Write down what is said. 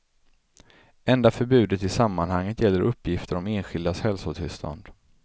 Enda förbudet i sammanhanget gäller uppgifter om enskildas hälsotillstånd.